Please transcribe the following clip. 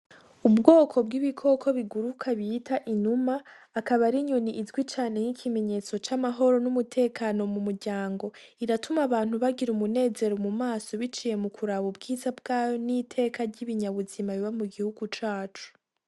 Ubwoko bw'ibikoko biguruka bita inuma akaba ari inyoni izwi cane y'ikimenyetso c'amahoro n'umutekano mu muryango iratuma abantu bagira umunezero mu maso biciye mu kuraba ubwiza bwayo n'iteka ry'ibinya buzima biba mu gihugu cacu.